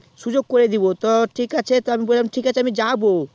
সুযোগ করে দেবো তো ঠিক আছে আমি বললাম যাবো